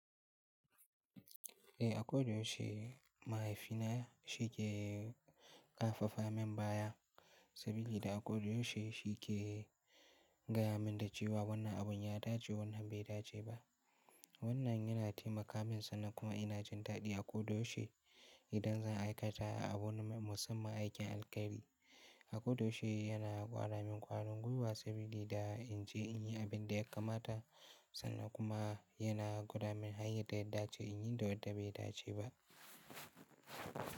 Eh a kodayaushe mahaifina shi ke karfafa min baya saboda a kodayaushe shi ke gaya min da cewa wannan abun ya dace wannan bai dace ba. Wannan yana taimaka min sannan kuma ina jin daɗi a ko da yaushe idan zan aikata abu na musamman aikin alkhairi. A kodayaushe yana gwara min ƙwarin gwiwa saboda in je in yi abin da ya kamata sannan kuma yana gwada min hanyar da ya dace in yi da wadda bai dace ba.